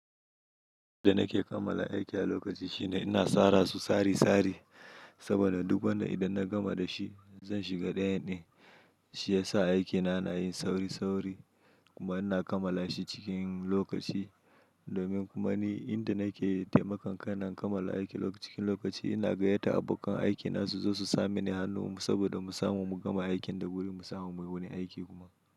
Inda nake kammala aiki a lokaci shine ina tsara su tsari-tsari saboda duk wanda idan na gama da shi zan shiga dayanne. Shi yasa aikina na yin sauri sauri kuma ina kammala shi cikin lokaci domin kuma ni inda nake taimakon kaina in kammala aiki cikin lokaci ina gayata abokan aikina su zo su samini hannu saboda mu samu mu gama aikin da guri mu samu mai wani aiki kuma.